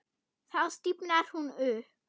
Þá stífnar hún upp.